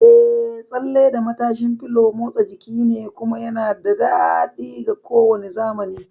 Eh, tsalle da matashin fulo babban motsa jiki ne, kuma yana da daɗi ga kowane zamani!